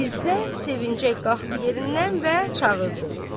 İzzət sevincək qalxdı yerindən və çağırdı.